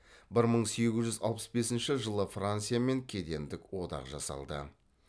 бір мың сегіз жүз алпыс бесінші жылы франциямен кедендік одақ жасалды